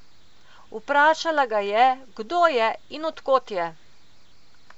Vprašala ga je, kdo je in od kod je.